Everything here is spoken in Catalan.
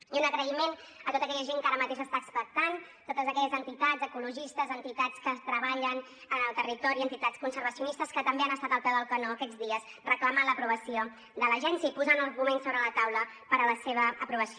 i un agraïment a tota aquella gent que ara mateix està expectant totes aquelles entitats ecologistes entitats que treballen en el territori entitats conservacionistes que també han estat al peu del canó aquests dies reclamant l’aprovació de l’agència i posant arguments sobre la taula per a la seva aprovació